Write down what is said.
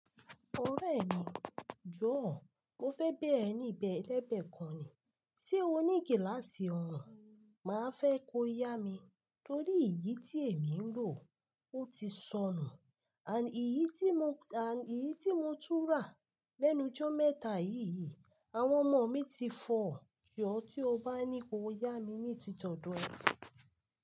Ọ̀rẹ́ mi, jọ̀ọ́ mo fẹ́ bẹ́ ẹ níbẹ̀ lẹ́bẹ̀ kan ni. Se o ní gíláàsì ọrùn, màá fẹ́ ko yá mi. Torí iyí tí èmi ń lò, ó ti sonù. Àń, iyí tí mo àń, iyí tí mo tún rà lẹ́nu jọ́ mẹ́ta yìí, àwọn ọmọ mi ti fọ̀. Jọ̀ọ́ tí o bá ní ko yá mi ní títọ̀dọ̀ re.